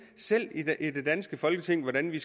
selv i det danske folketing hvordan vi